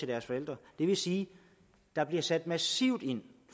deres forældre det vil sige at der bliver sat massivt ind